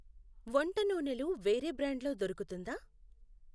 వంట నూనెలు వేరే బ్రాండ్ లో దొరుకుతుందా?